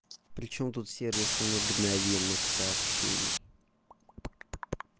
причём тут сервисы мгновенных сообщений